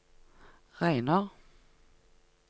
regner